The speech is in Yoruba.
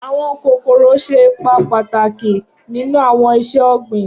Awọn kokoro ṣe ipa pataki ninu awọn iṣẹ-ogbin.